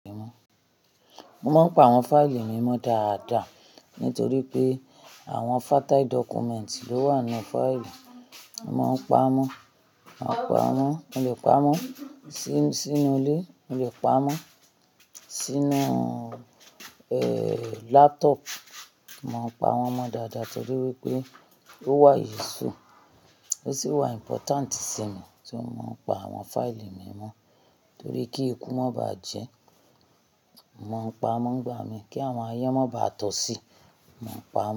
Mo máa ń pa àwọn fáìlì mi mọ́ dáadáa nítorí pé àwọn fatal document ló wà nínú fáìlì. Mo máa ń pa mọ́n, màá pa mọ́n, mo lè pa mọ́n sínú ilé, mo lè pa mọ́n sínú, eeh, laptop. Mo pa mọ́n mọ dáadáa torí wípé ó wà yíṣú, ó sì wà important sí mi. Torí má pa àwọn fáìlì mi mọ́ torí kí ekú má ba jẹ́, màá pa mọ́n nígbà mi, kí àwọn ayan má ba tọ̀ sí, màá pa mọ́n.